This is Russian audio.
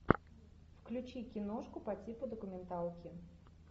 включи киношку по типу документалки